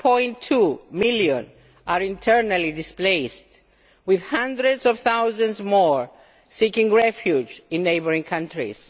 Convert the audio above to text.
1.2 million are internally displaced, with hundreds of thousands more seeking refuge in neighbouring countries.